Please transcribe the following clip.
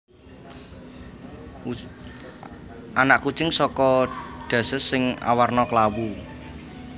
Anak kucing saka Duchess sing awarna klawu